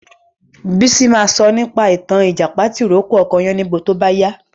Bísí ma sọ nípa ìtàn Ìjàpá tì rókò ọkọ Yáníbo tó bá yá